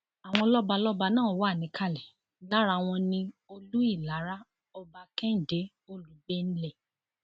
àwọn lọbalọba náà wà níkàlẹ lára wọn ní olú ìlara ọba kẹhìndé olùgbẹnlé